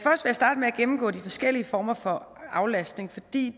gennemgå de forskellige former for aflastning fordi